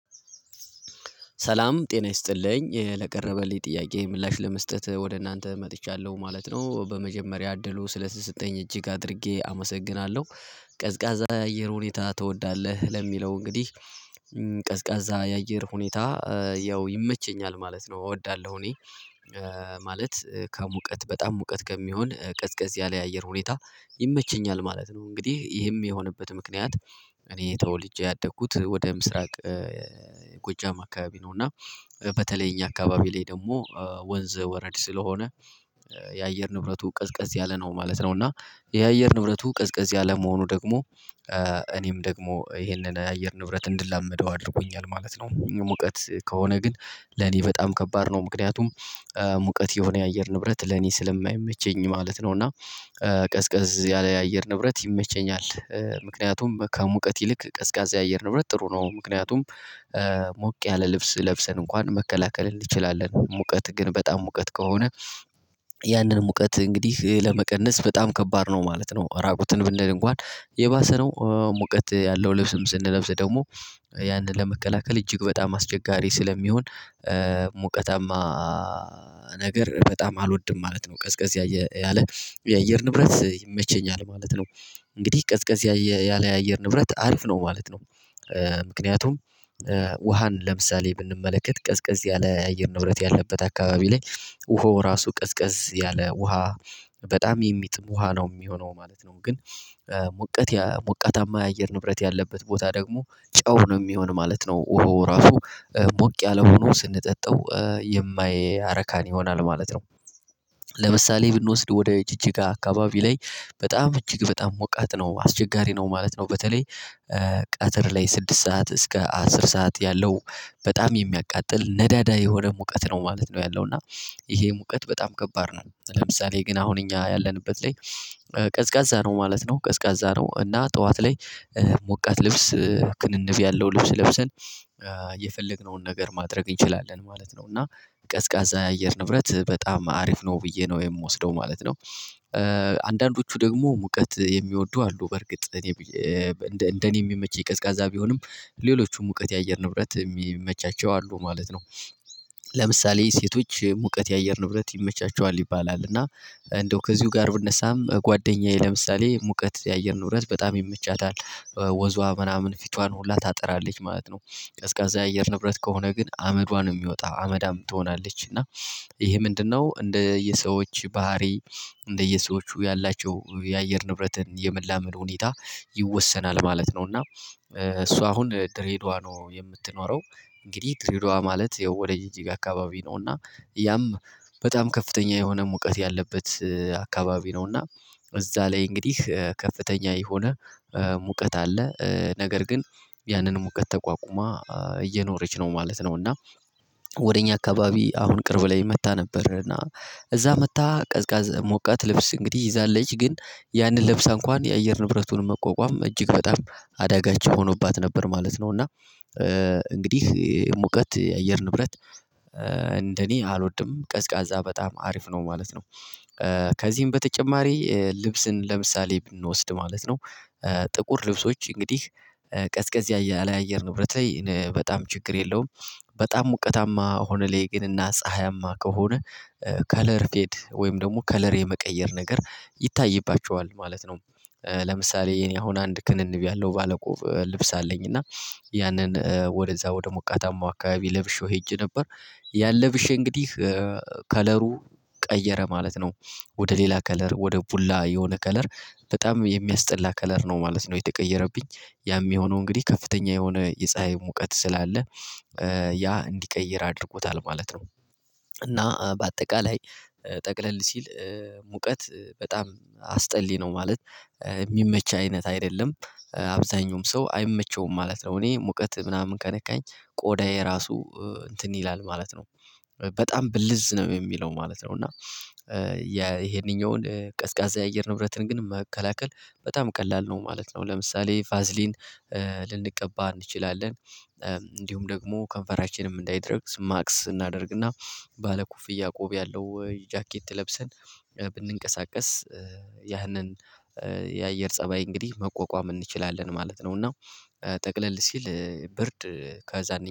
ሰላም ጤና ይስጥልኝ ለቀረበልኝ ጥያቄ ምላሽ ለመስጠት ወደ እናንተ መጥቻለሁ ማለት ነው በመጀመሪያ እድሉ ስለተሰጠኝ እጅግ አድርጌ አመሰግናለሁ። ቀዝቃዛ የአየር ሁኔታ ትወዳለህ ለሚለው እንግዲህ ቀዝቃዛ የአየር ሁኔታ ያው ይመቸኛል ማለት ነው። እወዳለሁ እኔ ማለት ከሙቀት በጣም ሙቀት ከሚሆን ቀዝቀዝ ያለ የአየር ሁኔታ ይመቸኛል ማለት ነው። እንግዲህ ይህም የሆነበት ምክንያት እኔ ተወልጄ ያደኩት ወደ ምስራቅ ጎጃም አካባቢ ነው። እና በተለይ እኛ አካባቢ ላይ ደግሞ ወንዝ ወረድ ስለሆነ የአየር ንብረቱ ቀዝቀዝ ያለ ነው ማለት ነው። እና የአየር ንብረቱ ቀዝቀዝ ያለ መሆኑ ደግሞ እኔም ደግሞ ይሄንን የአየር ንብረት እንድላመደው አድርጎኛል ማለት ነው። ሙቀት ከሆነ ግን ለኔ በጣም ከባድ ነው ምክንያቱም ሙቀት የሆነ የአየር ንብረት ለኔ ስለማይመቸኝ ማለት ነው። እና ቀዝቀዝ ያለ የአየር ንብረት ይመቸኛል ምክንያቱም ከሙቀት ይልቅ ቀዝቃዛ የአየር ንብረት ጥሩ ነው። ምክንያቱም ሞቅ ያለ ልብስ ለብሰን እንኳን መከላከል እንችላለን ሙቀት ግን በጣም ሙቀት ከሆነ ያንን ሙቀት እንግዲህ ለመቀነስ በጣም ከባድ ነው ማለት ነው። ራቆትን ብንል እንኳን የባሰ ነው ሙቀት ያለው ልብስም ስንለብስ ደግሞ ያንን ለመከላከል እጅግ በጣም አስቸጋሪ ስለሚሆን ሙቀታማ ነገር በጣም አልወድም ማለት ነው። ቀዝቀዝ ያለ የአየር ንብረት ይመቸኛል ማለት ነው። እንግዲህ ቀዝቀዝ ያለ የአየር ንብረት አሪፍ ነው ማለት ነው። ምክንያቱም ውሃን ለምሳሌ ብንመለከት ቀዝቀዝ ያለ አየር ንብረት ያለበት አካባቢ ላይ ውሃ ራሱ ቀዝቀዝ ያለ ውሃ በጣም የሚጥም ውሃ ነው የሚሆነው ማለት ነው። ግን ሙቀት ሙቀታማ የአየር ንብረት ያለበት ቦታ ደግሞ ጨው ነው የሚሆን ማለት ነው። ወሃው ራሱ ሞቅ ያለ ሆኖ ስንጠጣው የማያረካን ይሆናል ማለት ነው። ለምሳሌ ብንወስድ ወደ ጅጅጋ አካባቢ ላይ በጣም እጅግ በጣም ሞቃት ነው አስቸጋሪ ነው ማለት ነው። በተለይ ቀትር ላይ ስድስት ሰዓት እስከ አስር ሰዓት ያለው በጣም የሚያቃጥል ነዳዳ የሆነ ሙቀት ነው ማለት ነው። ያለው እና ይሄ ሙቀት በጣም ከባድ ነው ለምሳሌ ግን አሁን እኛ ያለንበት ላይ ቀዝቃዛ ነው ማለት ነው። ቀዝቃዛ ነው እና ጠዋት ላይ ሞቃት ልብስ ክንንብ ያለው ልብስ ለብሰን የፈለግነውን ነገር ማድረግ እንችላለን ማለት ነው። እና ቀዝቃዛ የአየር ንብረት በጣም አሪፍ ነው ብዬ ነው የምወስደው ማለት ነው። አንዳንዶቹ ደግሞ ሙቀት የሚወዱ አሉ በርግጥ እኔ እንደኔ የሚመች የቀዝቃዛ ቢሆንም ሌሎቹም ሙቀት የአየር ንብረት የሚመቻቸው አሉ ማለት ነው። ለምሳሌ ሴቶች የሙቀት የአየር ንብረት ይመቻቸዋል ይባላል እና እንደው ከዚሁ ጋር ብነሳም ጓደኛዬ ለምሳሌ ሙቀት የአየር ንብረት በጣም ይመቻታል ወዝዋ ምናምን ፊታን ሁላ ታጠራለች ማለት ነው። ቀዝቃዛ የአየር ንብረት ከሆነ ግን አመዷን ነው የሚወጣው አመዳም ትሆናለች እና ይሄ ምንድነው እንደየሰዎች ባህሪ እንደየሰዎቹ ያላቸው የአየር ንብረትን የመላመል ሁኔታ ይወሰናል ማለት ነው። እና እሷ አሁን ድሬዳዋ ነው የምትኖረው እንግዲህ ድሬዳዋ ማለት ወደ ጅጅጋ አካባቢ ነው እና ያም በጣም ከፍተኛ የሆነ ሙቀት ያለበት አከባቢ ነውና እዛ ላይ እንግዲህ ከፍተኛ የሆነ ሙቀት አለ ነገር ግን ያንን ሙቀት ተቋቁማ እየኖረች ነው ማለት ነው። እና ወደ እኛ አካባቢ አሁን ቅርብ ላይ መጥታ ነበርና እዛ መጥታ ቀዝቃዝ ሞቃት ልብስ እንግዲህ ይዛለች ግን ያንን ለብሳ እንኳን የአየር ንብረቱን መቋቋም እጅግ በጣም አደጋችን ሆኖባት ነበር ማለት ነው። እና እንግዲህ ሙቀት የአየር ንብረት እንደኔ አልወድም ቀዝቃዛ በጣም አሪፍ ነው ማለት ነው። ከዚህም በተጨማሪ ልብስን ለምሳሌ ብንወስድ ማለት ነው ጥቁር ልብሶች እንግዲህ ቀዝቀዝ ያለ አየር ንብረት በጣም ችግር የለውም። በጣም ሙቀታማ ሆነልኝ ግን እና ፀሀያማ ከሆነ ከለር ፌድ ወይም ደግሞ ከለር የመቀየር ነገር ይታይባቸዋል ማለት ነው። ለምሳሌ እኔ አሁን አንድ ክንንብ ያለው ባለቆብ ልብስ አለኝ እና ያንን ወደዛ ወደ ሙቀታማው አካባቢ ለብሼው ሄጄ ነበር ያለ ብሼ እንግዲህ ከለሩ ቀየረ ማለት ነው። ወደ ሌላ ከለር ወደ ቡላ የሆነ ከለር በጣም የሚያስጠላ ከለር ነው ማለት ነው። የተቀየረብኝ ያም የሆነው እንግዲህ ከፍተኛ የሆነ የፀሀይ ሙቀት ስላለ ያ እንዲቀይር አድርጎታል ማለት ነው። እና በአጠቃላይ ጠቅለል ሲል ሙቀት በጣም አስጠሊ ነው ማለት የሚመች አይነት አይደለም አብዛኛውም ሰው አይመቸውም ማለት ነው። እኔ ሙቀት ምናምን ከነካኝ ቆዳዬ ራሱ እንትን ይላል ማለት ነው በጣም ብልዝ ነው የሚለው ማለት ነው። እና ይሄንኛውን ቀዝቃዛ የአየር ንብረትን ግን መከላከል በጣም ቀላል ነው ማለት ነው። ለምሳሌ ቫዝሊን ልንቀባ እንችላለን እንዲሁም ደግሞ ከንፈራችንም እንዳይደርግ ማስክ እናደርግና ባለኩፍያ ቆብ ያለው ጃኬት ለብሰን ብንንቀሳቀስ ያህንን የአየር ፀባይ እንግዲህ መቆቋም እንችላለን ማለት ነው። እና ጠቅለል ሲል ብርድ ከዛ